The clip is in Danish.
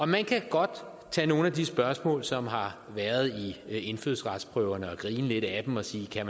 man kan godt tage nogle af de spørgsmål som har været i indfødsretsprøven og grine lidt af dem og sige kan